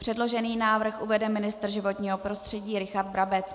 Předložený návrh uvede ministr životního prostředí Richard Brabec.